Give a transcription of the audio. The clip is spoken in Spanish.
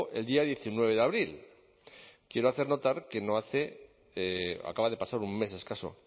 el día diecinueve de abril quiero hacer notar acaba de pasar un mes escaso